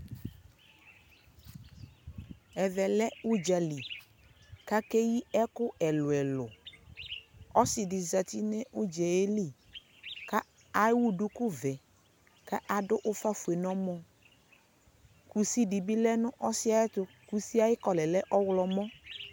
ɛvɛ lɛ ʋdzali kʋakɛ yii ɛkʋ ɛlʋɛlʋ ,ɔsii di zati nʋ ʋdzali kʋɛwʋ dʋkʋ vɛ kʋ adʋ ʋƒa ƒʋɛ nʋ ɔmɔ, kʋsi dibi lɛnʋ ɔsiiɛ ayɛtʋ, kʋsiɛ ayi color lɛɔwlɔmʋ